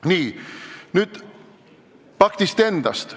Nii, nüüd paktist endast.